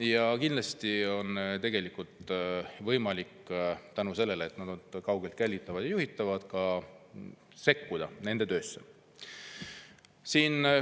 Ja kindlasti on tegelikult võimalik tänu sellele, et nad on kaugelt jälgitavad ja juhitavad, nende töösse sekkuda.